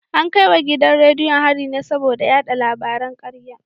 An kai wa gidan rediyon hari ne saboda yada labaran karya